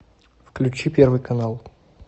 включи первый канал